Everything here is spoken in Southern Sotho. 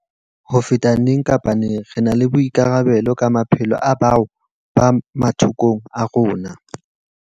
Hona jwale, ho feta neng kapa neng, re na le boikarabelo ka maphelo a bao ba mathokong a rona.